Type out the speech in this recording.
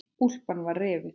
Úlpan var rifin.